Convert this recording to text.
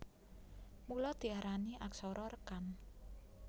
Mula diarani aksara rékan